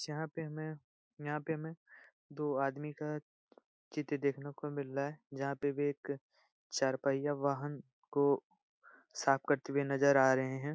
जहाँ पे हमें यहाँ पे हमें दो आदमी का चित्र देखने को मिल रहा है जहाँ पे वे एक चार पहिया वाहन को साफ़ करते हुए नज़र आ रहें हैं।